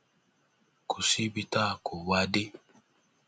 kò síbi tá a kó wa a dé